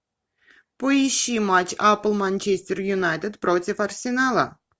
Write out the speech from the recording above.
поищи матч апл манчестер юнайтед против арсенала